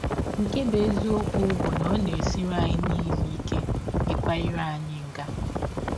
Nke bụ́ eziọkwụ bụ na ọ na - esiri anyị niile ike ịkwa ire anyị nga.